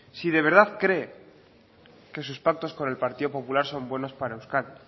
si de verdad cree que sus pactos con el partido popular son buenos para euskadi